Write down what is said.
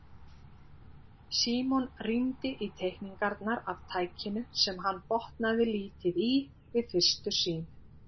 Símon rýndi í teikningarnar af tækinu sem hann botnaði lítið í við fyrstu sýn.